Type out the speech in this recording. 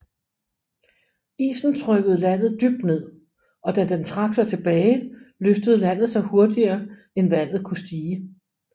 Isen trykkede landet dybt ned og da den trak sig tilbage løftede landet sig hurtigere end vandet kunne stige